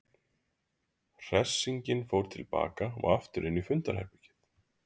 Hersingin fór til baka og aftur inn í fundarherbergið.